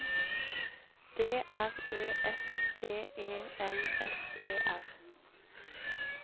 D R Ø F T E L S E R